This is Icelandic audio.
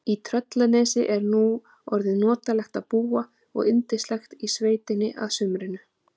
Í Tröllanesi er nú orðið notalegt að búa og yndislegt í sveitinni að sumrinu.